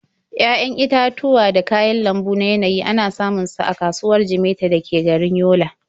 Ya'yan itatuwa da kayan lambu na yanayi ana samun su a kasuwar Jimeta da ke garin Yola.